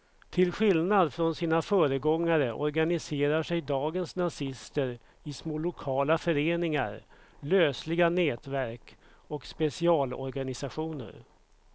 Till skillnad från sina föregångare organiserar sig dagens nazister i små lokala föreningar, lösliga nätverk och specialorganisationer.